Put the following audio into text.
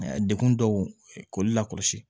Dekun dɔw k'ulu la kɔlɔsi